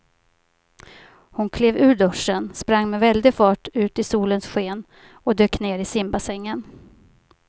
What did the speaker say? Hon klev ur duschen, sprang med väldig fart ut i solens sken och dök ner i simbassängen.